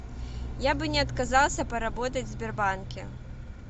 я бы не отказался поработать в сбербанке